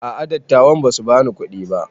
A'a dattawan basu bani kuɗi ba